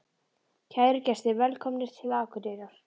Kæru gestir! Velkomnir til Akureyrar.